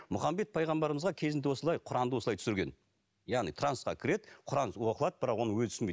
мұхаммед пайғамбарымызға кезінде осылай құранды осылай түсірген яғни трансқа кіреді құран оқылады бірақ оны өзі түсінбейді